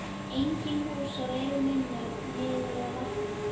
Engin hús á leið minni niður að vatninu.